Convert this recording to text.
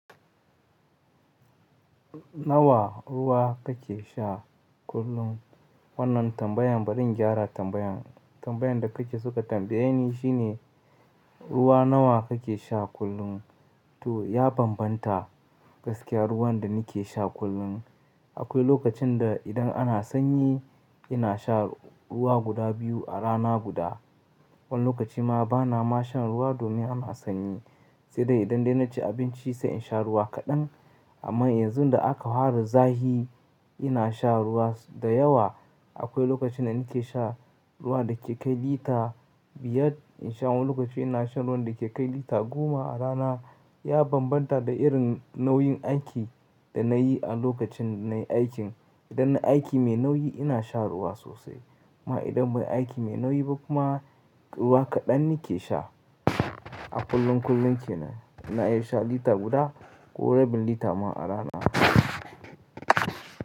Nawa ruwa kake sha kullum? Wannan tambayan, bari in gyara tambayan. Tambayan da kake so ka tambaye ni shine ruwa nawa kake sha kullum? To ya bambanta gaskiya ruwan da nake sha kullum. Akwai lokacin da idan ana sanyi ina sha ruwa guda biyu a rana guda. Wani lokaci ma bana ma shan ruwa domin ana sanyi. Sai dai idan dai na ci abinci sai in sha ruwa kaɗan. Amma yanzu da aka fara zahi ina sha ruwa da yawa. Akwai lokacin da nake sha ruwa da ke kai lita biyar. In sha wani lokaci ina shan ruwan da ke kai lita goma a rana. Ya bambanta da irin nau'in aiki da na yi a lokacin na yi aikin. Idan na aiki mai nauyi ina sha ruwa sosai. Kuma idan bai aiki mai nauyi ba kuma ruwa kaɗan nake sha. A kullum kullum kenan ina iya sha lita guda ko rabi lita ma a rana.